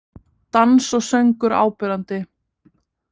Dans og söngur áberandi